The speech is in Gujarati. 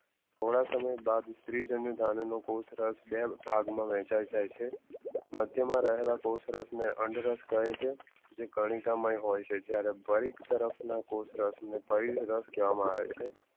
થોડા સમય બાદ સ્ત્રી જન્યધની બે ભાગમાં વહેંચાઈ જાય છે મધ્યમાં રહેલા કોષ રખને અંદરક કહે છે જે કનિકા માં ભી હોય છે જ્યરહ કોશરસ ને પરિરશ કહેવામાં આવે છે